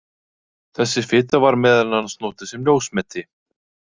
Þessi fita var meðal annars notuð sem ljósmeti.